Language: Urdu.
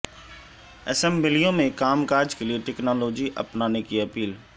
اسمبلیوں میں کام کاج کیلئے ٹیکنالوجی اپنانے کی اپیل